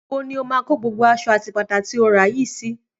Níbo ni ó máa kọ gbogbo aṣọ àti bàtà tí o rà yìí sí?